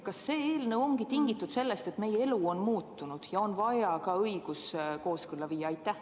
Kas see eelnõu ongi tingitud sellest, et meie elu on muutunud ja õigus on vaja sellega kooskõlla viia?